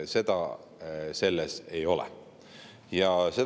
Seda selles ei ole.